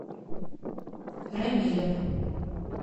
рамилем